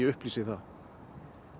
upplýsa það